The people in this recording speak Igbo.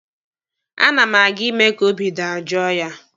A na m aga ime ka obi dajoo ya.